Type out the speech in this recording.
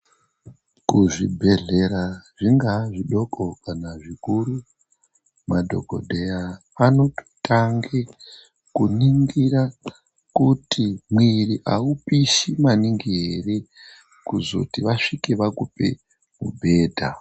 Kuzvibhehlera zvingaa zvidoko kana zvikuru, madhokodheya anototange kuningira kuti mwiiri aupishi maningi ere kuzoti vasvike vakupe mubhedha.